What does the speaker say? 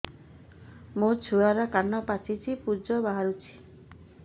ମୋ ଛୁଆର କାନ ପାଚି ପୁଜ ବାହାରୁଛି